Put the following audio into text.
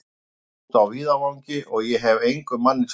Það var úti á víðavangi, og ég hefi engum manni frá því sagt.